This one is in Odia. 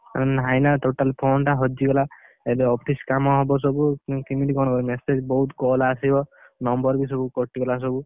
ନାହିଁ ନା total phone ଟା ହଜିଗଲା। ଏବେ office କାମ ହବ ସବୁ, ନହେଲେ କିମିତି କଣ କରିଆ ସେ ବହୁତ୍ call ଆସିବ। number ବି ସବୁ କଟିଗଲା ସବୁ।